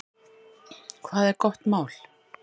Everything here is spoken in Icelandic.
Hvað er gott mál?